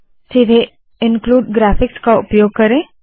सीधे include graphics का उपयोग करे